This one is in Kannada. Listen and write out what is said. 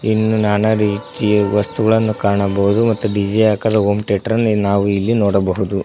ಇನ್ನು ನಾನಾ ರೀತಿಯ ವಸ್ತುಗಳನ್ನು ಕಾಣಬಹುದು ಮತ್ತು ಡಿ_ಜೆ ಆಕಾರದ ಹೋಂ ಥಿಯೇಟರ್ ಅನ್ನು ನಾವು ಇಲ್ಲಿ ನೋಡಬಹುದು.